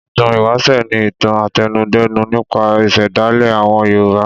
Ìtàn ìwáṣẹ̀ ni ìtàn àtẹnudẹ́nu nípa ìṣẹ̀dálẹ̀ àwọn Yorùbá.